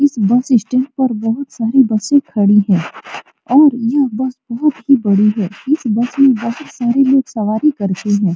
इस bus stand पर बहुत सारी बसें खड़ी हैं और यह बस बहोत बड़ी है इस बस में बहुत सारे लोग सवारी करते हैं।